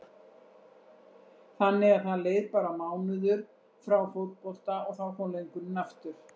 Þannig að það leið bara mánuður frá fótbolta og þá kom löngunin aftur?